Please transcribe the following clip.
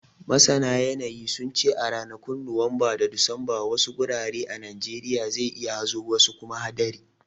Masana yanayi, sun ce a ranakun Nuwamba da Disamba, wasu gurare a Najeriya zai yi hazo wasu kuma hadari.